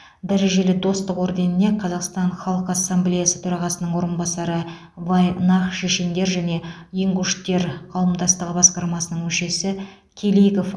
дәрежелі достық орденіне қазақстан халқы ассамблеясы төрағасының орынбасары вайнах шешендер және ингуштер қауымдастығы басқармасының мүшесі келигов